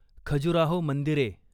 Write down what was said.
खजुराहो मंदिरे